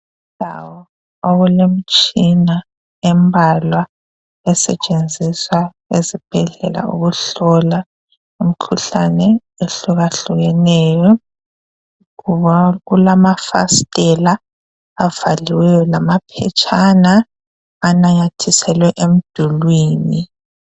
Yindawo okulemitshina embalwa esetshenziswa esibhedlela ukuhlola imikhuhlane ehluka hlukeneyo kulamafasiteli avaliweyo lamaphetshana ananyathiselwe emdulwini.